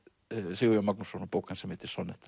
Sigurjón Magnússon og bók hans sem heitir